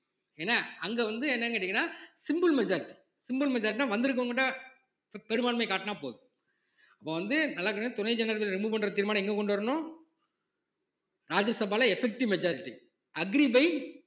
என்ன அங்க வந்து என்னன்னு கேட்டீங்கன்னா simple majoritysimple majority ன்னா வந்து இருக்கிறவங்ககிட்ட பெரும்பான்மை காட்டினா போதும் அப்ப வந்து நல்ல கவனிங்க துணை ஜனாதிபதிய remove பண்ற தீர்மானம் எங்க கொண்டு வரணும் ராஜ்ய சபால effective majority agree by